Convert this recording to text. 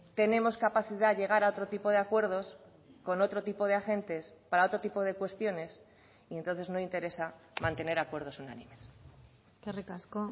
tenemos capacidad de llegar a otro tipo de acuerdos con otro tipo de agentes para otro tipo de cuestiones y entonces no interesa mantener acuerdos unánimes eskerrik asko